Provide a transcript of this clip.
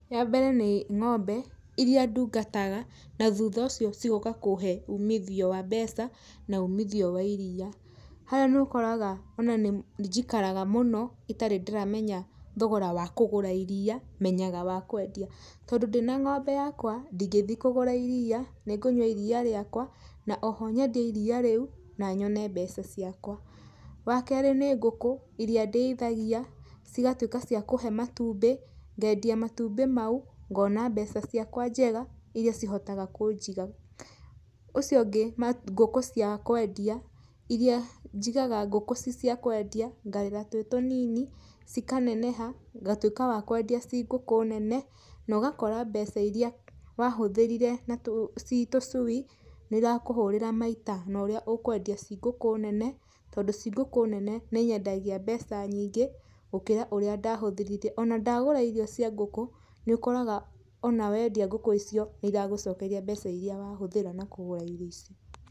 Ya mbere nĩ ngombe, iria ndungataga na thutha ũcio cigoka kũhe umithio wa mbeca na umithio wa iria. Harĩa nĩ ũkoraga ona nĩ njikaraga mũno itarĩ ndĩramenya thogora wa kũgũra iria, menyaga wa kwendia. Tondũ ndĩna ngombe yakwa, ndĩngĩthi kũgura iria nĩ ngũnywa iria rĩakwa, na oho nyendie iria rĩu na nyone mbeca ciakwa. Wa kerĩ nĩ ngũkũ iria ndeithagia cigatuĩka cia kũhe matumbĩ, ngendia matumbĩ mau, ngona mbeca ciakwa njega iria cihotaga kũnjiga. Ũcio ũngĩ, ngũkũ cia kwendia, iria njigaga ngũkũ ci cia kwendia, ngarera twĩ tũnini, cikaneneha, ngatwĩka wa kwendia ci ngũkũ nene, na ũgakora mbeca iria wahũthĩrire ci tũcui, nĩ irakũhũrĩra maita na ũrĩa ũkwendia ci ngũkũ nene, tondũ ci ngũkũ nene nĩ nyendagia mbeca nyingĩ gũkĩra ũrĩa ndahũthĩrire. Ona ndagũra irio cia ngũkũ, nĩ ũkoraga ona wendia ngũkũ icio nĩ iragũcokeria mbeca iria wa hũthĩra na kũgũra irio icio.